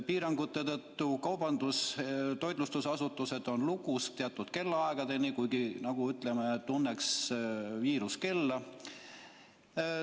Piirangute tõttu on kaubandus- ja toitlustusasutused teatud kellaaegadest alates lukus, nagu tunneks viirus kella.